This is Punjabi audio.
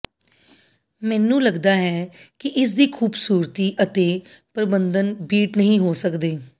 ਮੈਨੂੰ ਲਗਦਾ ਹੈ ਕਿ ਇਸ ਦੀ ਖੂਬਸੂਰਤੀ ਅਤੇ ਪਰਬੰਧਨ ਬੀਟ ਨਹੀਂ ਹੋ ਸਕਦੇ